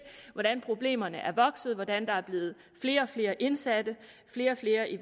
hvordan problemerne er vokset hvordan der er blevet flere og flere indsatte flere og flere i